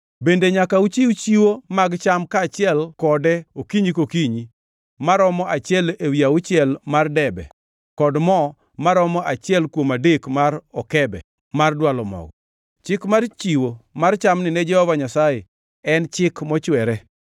Bende nyaka uchiw chiwo mag cham kaachiel kode okinyi kokinyi, maromo achiel ewi auchiel mar debe kod mo maromo achiel kuom adek mar okebe, mar dwalo mogo. Chik mar chiwo mar chamni ne Jehova Nyasaye en chik mochwere.